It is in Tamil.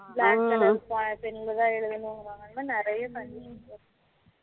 black color pen ல தான் எழுதணும் நிறைய condition லம் இருக்கு